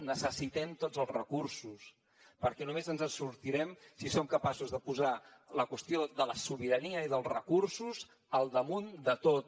necessitem tots els recursos perquè només ens en sortirem si som capaços de posar la qüestió de la sobirania i dels recursos al damunt de tot